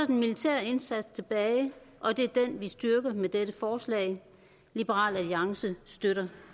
den militære indsats tilbage og det er den vi styrker med dette forslag liberal alliance støtter